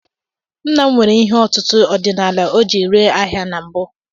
Nna m nwere ihe ọtụtụ ọdinaala o ji ree ahịa na mbụ.